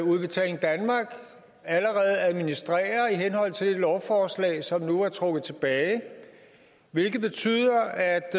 at udbetaling danmark allerede administrerer i henhold til det lovforslag som nu er trukket tilbage hvilket betyder at